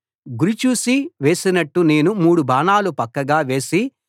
గురి చూసి వేసినట్టు నేను మూడు బాణాలు పక్కగా వేసి